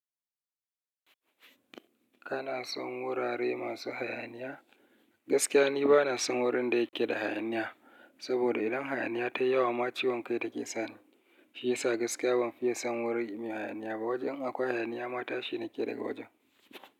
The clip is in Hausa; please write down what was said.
Kana son wurare masu hayaniya? Gaskiya ni bana son wurin da yake da hayaniya. Saboda idan hayaniya ta yi yawa ma ciwon kai take sani. Shi yasa gaskiya ban fiye son wuri mai hayaniya ba. Wajen akwai hayaniya ma tashi nake daga wajen.